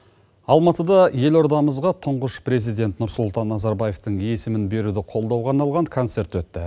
алматыда елордамызға тұңғыш президент нұрсұлтан назарбаевтың есімін беруді қолдауға арналған концерт өтті